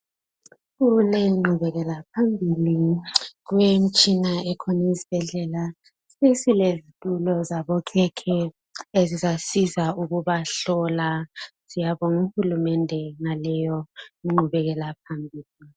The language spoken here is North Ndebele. Sekulengqhubekela phambili kulemitshina ekhona esibhedlela esile zitulo zabokhekhe ezizasiza ukubahlola syabonga uhulumende ngaleyo ngqhubekela phambili.